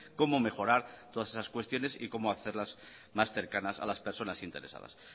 cómo mejorar todas esas cuestiones y como hacerlas más cercanas a las personas interesadas